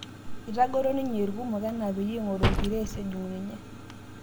Itang'oro ninye irkumok enaa peyie eishoru Gires ejung' ninye